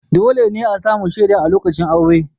Dole ne a sami shaida a lokacin aure.